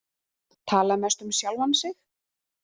Tala mest um sjálfan sig.